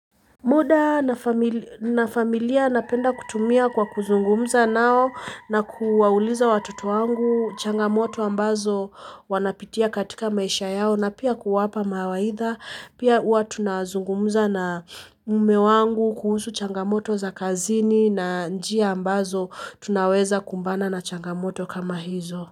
Muda na familia napenda kutumia kwa kuzungumza nao na kuwauliza watoto wangu changamoto ambazo wanapitia katika maisha yao na pia kuwapa mawaidha pia huwa tunazungumza na mume wangu kuhusu changamoto za kazini na njia ambazo tunaweza kumbana na changamoto kama hizo.